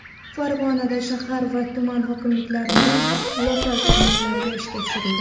Farg‘onada shahar va tuman hokimliklarining lokal tarmoqlari ishga tushirildi.